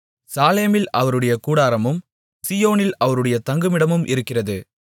சாலேமில் அவருடைய கூடாரமும் சீயோனில் அவருடைய தங்குமிடமும் இருக்கிறது